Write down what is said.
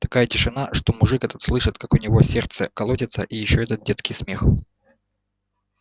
такая тишина что мужик этот слышит как у него сердце колотится и ещё этот детский смех